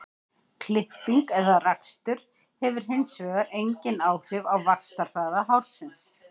klipping eða rakstur hefur hins vegar engin áhrif á vaxtarhraða hársins